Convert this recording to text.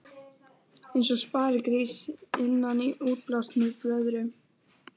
Eins og sparigrís innan í útblásinni blöðru.